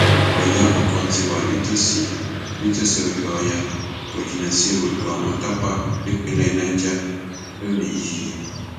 ọyọ àkọkọ ti wà nítòsí nítòsí odò ọyá kò jìnnà sí odò àwọn tápà nípínlẹ niger lónìín yìí